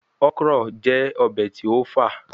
Okra jẹ obe ti o fa